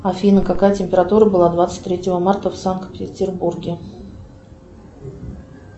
афина какая температура была двадцать третьего марта в санкт петербурге